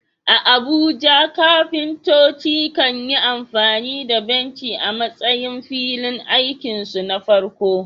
A Abuja, kafintoci kan yi amfani da benci a matsayin filin aikinsu na farko.